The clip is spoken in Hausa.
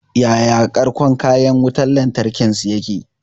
Yaya ƙarƙon kayan wutan lantarkin su yake?